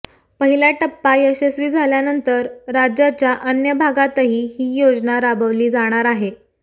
पहिला टप्पा यशस्वी झाल्यानंतर राज्याच्या अन्य भागातही ही योजना राबविली जाणार आहे